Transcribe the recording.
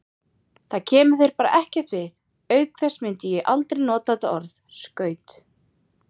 Það kemur þér bara ekkert við, auk þess myndi ég aldrei nota þetta orð, skaut.